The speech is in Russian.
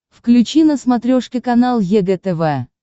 включи на смотрешке канал егэ тв